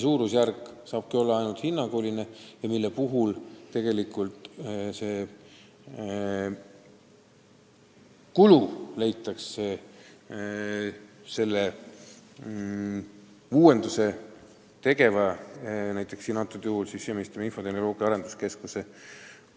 Siin saabki rääkida ainult hinnangulisest suurusjärgust ja selle kulu katab tegelikult uuenduse tegija, praegusel juhul Siseministeeriumi infotehnoloogia- ja arenduskeskus,